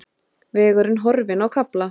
Vegurinn horfinn á kafla